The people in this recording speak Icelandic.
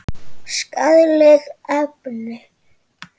Skaðleg efni.